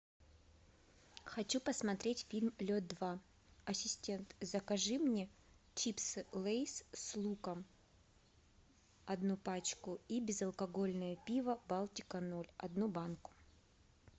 хочу посмотреть фильм лед два ассистент закажи мне чипсы лейс с луком одну пачку и безалкогольное пиво балтика ноль одну банку